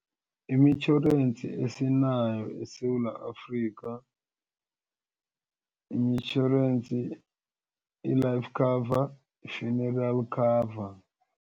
Imitjhorensi esinayo eSewula Afrika yimitjhorensi i-life cover, i-funeral cover.